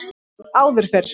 Áður fyrr